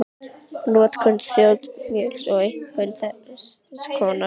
Notkun þangmjöls er einkum þrenns konar